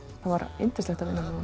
var yndislegt að vinna